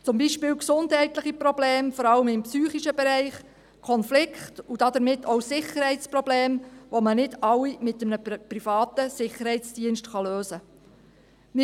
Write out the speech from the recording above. Zum Beispiel gesundheitliche Probleme, vor allem im psychischen Bereich, Konflikte und damit auch Sicherheitsprobleme, die man nicht alle mit einem privaten Sicherheitsdienst lösen kann.